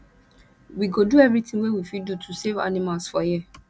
we go do everytin wey we fit do to save animals for here